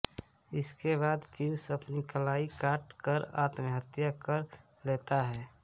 इसके बाद पीयूष अपनी कलाई काट कर आत्महत्या कर लेता है